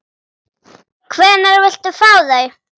Hvenær viltu fá þau?